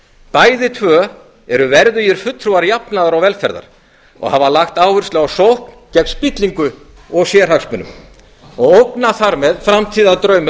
bæði tvö eru verðugir fulltrúar jafnaðar og velferðar og hafa lagt áherslu á sókn gegn spillingu og sérhagsmunum og ógna þar með framtíðardraumum